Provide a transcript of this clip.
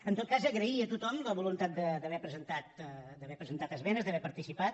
en tot cas agrair a tothom la voluntat d’haver presentat esmenes d’haver hi participat